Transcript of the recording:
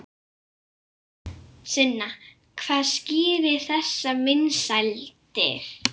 Sunna hvað skýrir þessar vinsældir?